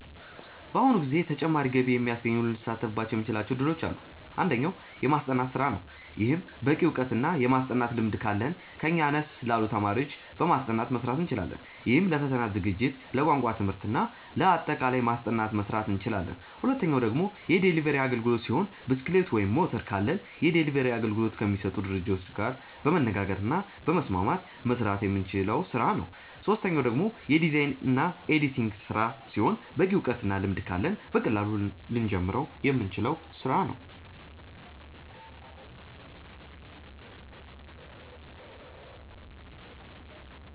በአሁኑ ጊዜ ተጨማሪ ገቢ የሚያስገኙ ልንሳተፍባቸው የምንችላቸው እድሎች አሉ። አንደኛው። የማስጠናት ስራ ነው። ይህም በቂ እውቀት እና የማስጠናት ልምድ ካለን ከኛ አነስ ላሉ ተማሪዎች በማስጠናት መስራት እንችላለን። ይህም ለፈተና ዝግጅት፣ ለቋንቋ ትምህርት እና ለአጠቃላይ ማስጠናት መስራት እንችላለን። ሁለተኛው ደግሞ የዴሊቨሪ አግልግሎት ሲሆን ብስክሌት ወይም ሞተር ካለን የዴሊቨሪ አገልግሎት ከሚሰጡ ድርጅቶች ጋር በመነጋገር እና በመስማማት መስራት የምንችለው ስራ ነው። ሶስተኛው ደግሞ የዲዛይን እና የኤዲቲንግ ስራ ሲሆን በቂ እውቀት እና ልምድ ካለን በቀላሉ ልንጀምረው የምንችለው ስራ ነው።